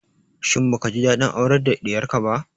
Shin baka ji daɗin aurar da diyarka ba?